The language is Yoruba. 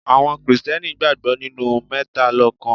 Àwọn Kristẹni gbàgbọ́ nínú mẹ́talọ́kan.